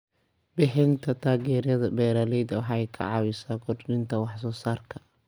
Bixinta taageerada beeralayda waxay caawisaa kordhinta wax soo saarka.